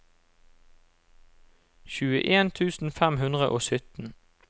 tjueen tusen fem hundre og sytten